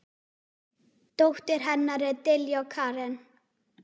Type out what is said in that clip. Dóttir hennar er Diljá Karen.